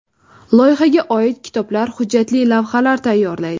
Loyihaga oid kitoblar, hujjatli lavhalar tayyorlaydi.